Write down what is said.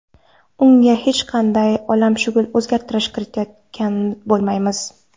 Unga hech qanday olamshumul o‘zgartirish kiritayotgan bo‘lmaymiz.